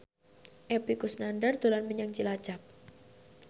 Epy Kusnandar dolan menyang Cilacap